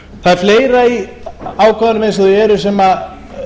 það er fleira í ákvæðunum eins og þau eru sem